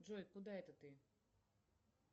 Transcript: джой куда это ты